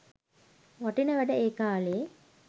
වටින වැඩ ඒ කාලේ.